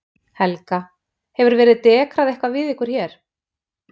Helga: Hefur verið dekrað eitthvað við ykkur hér?